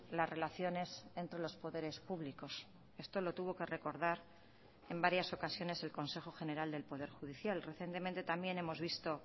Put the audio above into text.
las relaciones entre los poderes públicos esto lo tuvo que recordar en varias ocasiones el consejo general del poder judicial recientemente también hemos visto